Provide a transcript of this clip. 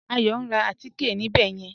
Ayọ̀ n rá àtíkẹ̀ ní ìbẹ̀ yẹn